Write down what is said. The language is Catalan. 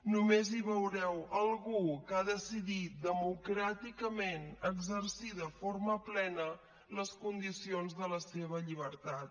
només hi veureu algú que ha decidit democràticament exercir de forma plena les condicions de la seva llibertat